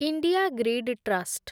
India grid trust